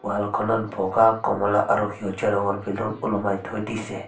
Wall খনত বগা কমলা আৰু সেউজীয়া ৰঙৰ বেলুন ওলোমাই থৈ দিছে।